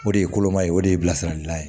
O de ye koloma ye o de ye bilasiralikan ye